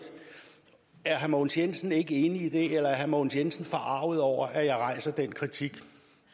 er herre mogens jensen ikke enig i det eller er herre mogens jensen forarget over at jeg rejser den kritik